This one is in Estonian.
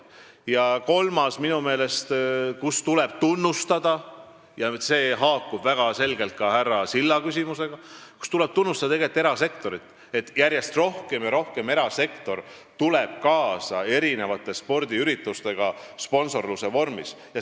Ja kolmandaks tuleb minu meelest tunnustada erasektorit – see haakub väga selgelt ka härra Silla küsimusega –, sest järjest rohkem ja rohkem tuleb erasektor sponsorluse vormis spordiüritustega kaasa.